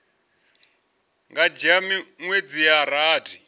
nga dzhia miṅwedzi ya rathi